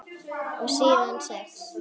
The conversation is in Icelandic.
Og síðan sex?